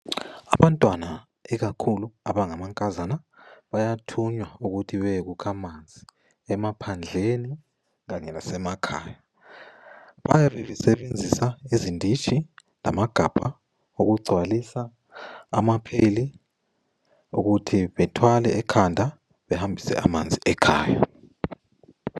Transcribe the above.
Abantwana ikakhulu abangamankazana bayathunywa ukuthi bayekukha amanzi emaphandleni kanye lasemakhaya. Bayabe besebenzisa izinditshi lamagabha ukugcwalisa ama pheyili, ukuthi bethwale ekhanda behambise amanzi ekhaya.